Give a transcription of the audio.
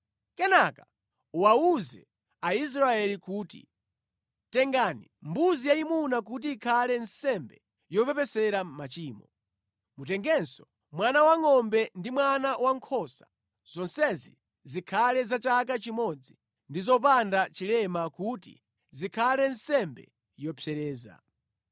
Kenaka uwawuze Aisraeli kuti, ‘Tengani mbuzi yayimuna kuti ikhale nsembe yopepesera machimo. Mutengenso mwana wangʼombe ndi mwana wankhosa. Zonsezi zikhale za chaka chimodzi ndi zopanda chilema kuti zikhale nsembe yopsereza.